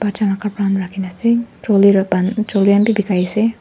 bacha han la kapra han rakhina ase han bi bekai ase.